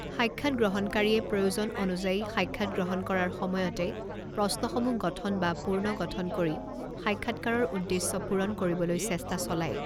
সাক্ষাৎ গ্ৰহণকাৰীয়ে প্ৰয়োজন অনুযায়ী সাক্ষাৎগ্ৰহণ কৰাৰ সময়তে প্ৰশ্নসমূহ গঠন বা পূৰ্ণগঠন কৰি সাক্ষাৎকাৰৰ উদ্দেশ্য পুৰণ কৰিবলৈ চেষ্টা চলায়।